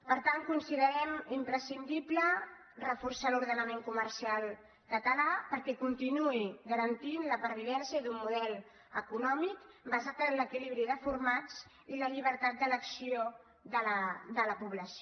per tant considerem imprescindible reforçar l’ordenament comercial català perquè continuï garantint la pervivència d’un model econòmic basat en l’equilibri de formats i la llibertat d’elecció de la població